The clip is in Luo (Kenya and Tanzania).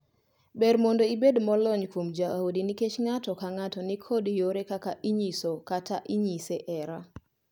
Ber mondo ibed molony kuom jaodi nikech ng’ato ka ng’ato ni kod yore kaka onyiso kata inyise hera.